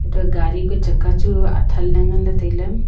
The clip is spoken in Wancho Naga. to gari ka chakka chu athan le ngan le taile.